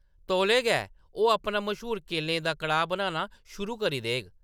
तौले गै, ओह्‌‌ अपना मश्हूर केलें दा कड़ाह्‌‌ बनाना कर शुरू देग ।